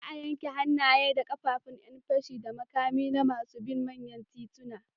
Za a yanke hannaye da ƙafafun ƴan fashi da makami na masu bin manyan tituna.